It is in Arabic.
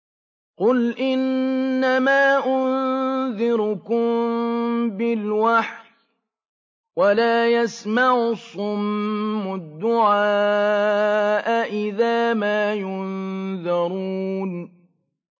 قُلْ إِنَّمَا أُنذِرُكُم بِالْوَحْيِ ۚ وَلَا يَسْمَعُ الصُّمُّ الدُّعَاءَ إِذَا مَا يُنذَرُونَ